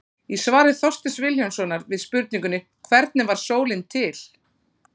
Í svari Þorsteins Vilhjálmssonar við spurningunni Hvernig varð sólin til?